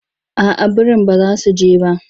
Aa birin ba za su je ba.